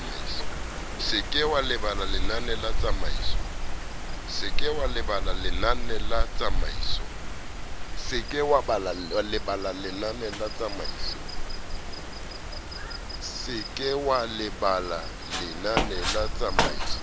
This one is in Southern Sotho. se ke wa lebala lenanetsamaiso